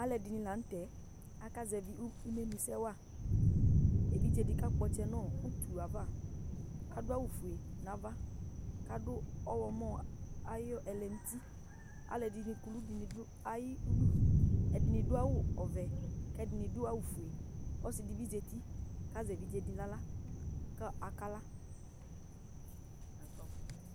alu ɛdini lanu tɛakazɛvi imenusɛ waevidzedi kakpɔ ɔtsɛ nu uti yɛ ayiʋ avaadʋ avu 'ƒue nu avakadu ɔɣlɔmɔ ayiʋ ɛlɛnutialu ɛdini kuku dini du ayiʋ udu ɛdini aɖu awu ɔvɛ ,ku ɛdini adu awu ofueɔsi dibi zati, ku azɛ evidze di nu aɣla , ku akla